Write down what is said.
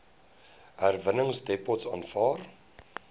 herwinningsdepots aanvaar